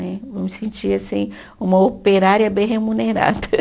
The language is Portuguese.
Eu me sentia uma operária bem remunerada.